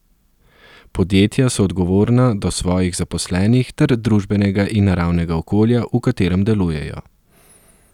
Podjetja so odgovorna do svojih zaposlenih ter družbenega in naravnega okolja, v katerem delujejo.